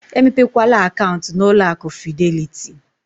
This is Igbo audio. Emepekwala akaụntụ na ụlọ akụ fidelịtị!